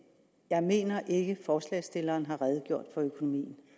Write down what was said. jeg mener ikke forslagsstillerne har redegjort for økonomien